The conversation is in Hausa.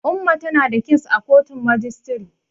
Umma tana da kes a kotun majistiri.